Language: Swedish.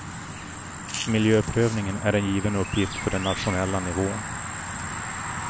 Miljöprövningen är en given uppgift för den nationella nivån.